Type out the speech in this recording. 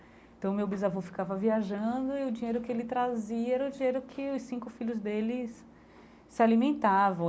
Então, meu bisavô ficava viajando e o dinheiro que ele trazia era o dinheiro que os cinco filhos deles se alimentavam.